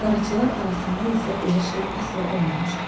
Qaraçılar arasında isə belə şey əsla olmamışdı.